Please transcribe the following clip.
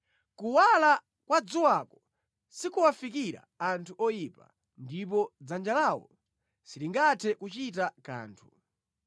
Kuwala kwa dzuwako sikuwafikira anthu oyipa, ndipo dzanja lawo silingathe kuchita kanthu.